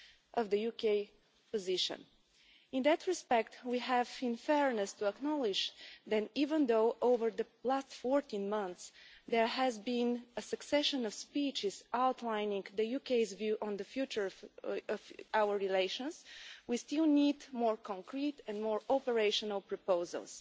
of the UK position. In that respect, we have, in fairness, acknowledged that even though over the last fourteen months there has been a succession of speeches outlining the UK's view on the future of our relations, we still need more concrete and more operational proposals.